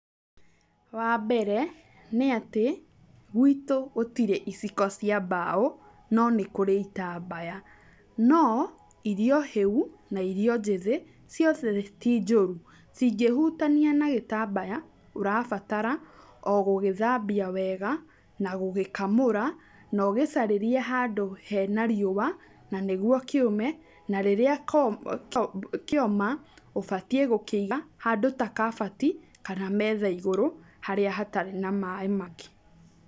Wambere, nĩatĩ, gwitũ gũtirĩ iciko cia mbaũ, no nĩkũrĩ itambaya. No, irio hĩu, na irio njĩthĩ ciothe ti njũru. Cingĩhutania na gĩtambaya, ũrabatara, o gũgĩthambia wega na gũgĩkamũra , na ũgĩcarĩrie handũ hena riũa, na nĩguo kĩume, na rĩrĩa ko kĩ, kĩoma, ũbatiiĩ gũkĩiga handdũ ta kabati kana metha igũrũ harĩa hatari na maĩ mangĩ.